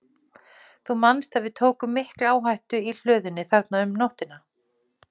Þú manst að við tókum mikla áhættu í hlöðunni þarna um nóttina?